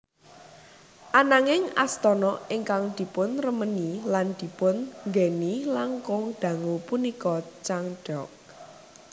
Ananging astana ingkang dipunremeni lan dipun nggèni langkung dangu punika Changdeok